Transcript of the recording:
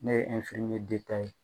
Ne ye ye